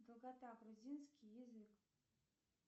долгота грузинский язык